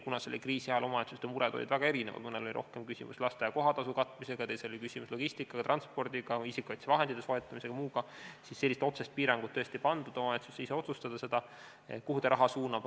Kuna praeguse kriisi ajal on omavalitsuste mured väga erinevad – mõnel on rohkem küsimus lasteaia kohatasu katmises, teistel logistika, transpordi, isikukaitsevahendite soetamisega ja muuga –, siis sellist otsest piirangut tõesti ei pandud, st omavalitsus saab ise otsustada, kuhu ta raha suunab.